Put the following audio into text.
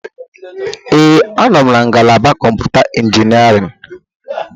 Ee, anọ m na ngalaba kọmputa injiniarin.